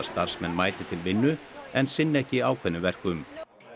starfsmenn mæti til vinnu en sinni ekki ákveðnum verkum